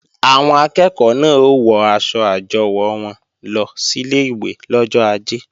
Àwọn akẹ́ẹ̀kọ́ náà ó wọ aṣọ àjọwò wọn lọ sílé ìwé lọ́jọ ajé